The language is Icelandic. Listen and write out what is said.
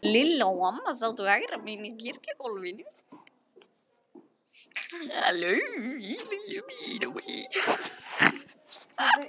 Lilla og amma sátu hægra megin á kirkjuloftinu.